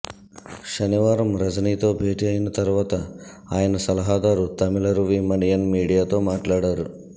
శనివారం రజనీతో భేటీ అయిన తర్వాత ఆయన సలహాదారు తమిళరువి మణియన్ మీడియాతో మాట్లాడారు